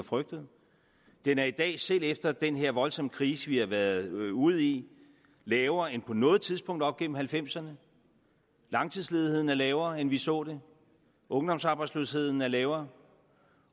frygtede den er i dag selv efter den her voldsomme krise vi har været ude i lavere end på noget tidspunkt op igennem nitten halvfemserne langtidsledigheden er lavere end vi så det ungdomsarbejdsløsheden er lavere